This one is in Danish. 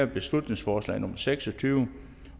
beslutningsforslag nummer b seks og tyve